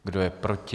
Kdo je proti?